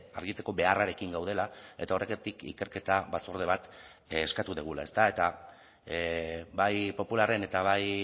argitzeko beharrarekin gaudela eta horregatik ikerketa batzorde bat eskatu dugula ezta eta bai popularren eta bai